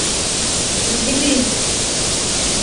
мглин